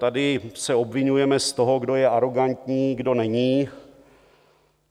Tady se obviňujeme z toho, kdo je arogantní, kdo není.